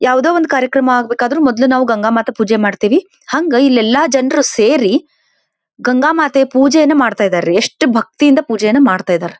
ಯಾವದೋ ಒಂದು ಕಾರ್ಯಕ್ರಮ ಆಗಬೇಕಾದ್ರು ಮೊದಲು ಗಂಗ ಮಾತ ಪೂಜೆ ಮಾಡತೀವಿ ಹಂಗ ಇಲ್ಲಿ ಎಲ್ಲಾ ಜನರು ಸೇರಿ ಗಂಗಾಮಾತೆ ಪೂಜೆಯನ್ನು ಮಾಡತಾಇದಾರೀ ಎಷ್ಟು ಭಕ್ತಿಯಿಂದ ಪೂಜೆಯನ್ನ ಮಾಡ್ತಾ ಇದರ್.